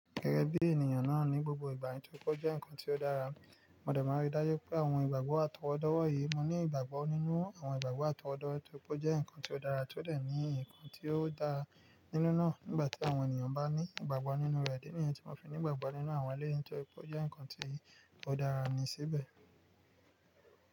Gẹ́gẹ́ bí ènìyàn náà ní, gbogbo ìgbà yẹn tó kọ jẹ́ nǹkan tí ó dára. Mo dẹ̀ máa rí dájú pé àwọn ìgbàgbọ́ àtọwọ́dọ́ wọ̀nyí, mo ní ìgbàgbọ́ nínú àwọn ìgbàgbọ́ àtọwọ́dọ́ torí pé o jẹ́ nǹkan tí ó dára tó dẹ̀ ní nǹkan tí ó dara nínú náà nígbà tí àwọn ènìyàn bá ní ìgbàgbọ́ nínú rẹ̀. Ìdí niyẹn tí mo fi ní ìgbàgbọ́ nínú àwọn eléyìí tóri pe o jẹ́ nǹkan tí ó dára ni síbẹ̀